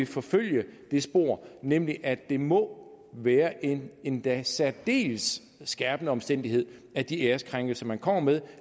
forfølge det spor nemlig at det må være en endda særdeles skærpende omstændighed at de æreskrænkelser man kommer med